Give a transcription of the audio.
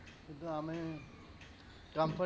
শুধু আমি